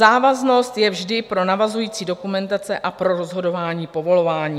Závaznost je vždy pro navazující dokumentace a pro rozhodování povolování.